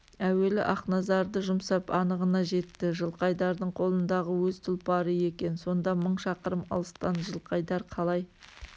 әуелі ақназарды жұмсап анығына жетті жылқайдардың қолындағы өз тұлпары екен сонда мың шақырым алыстан жылқайдар қалай